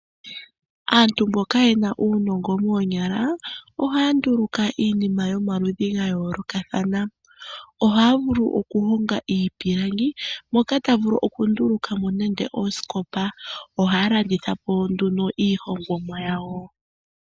Aantu mboka yena uunongo moonyala ohaya nduluka iinima yomaludhi ga yoolokathana ohaya vulu okuhonga iipilangi moka ta vulu okunduluka mo nenge oosikopa ohaya landitha po ihe iihongomwa yawo.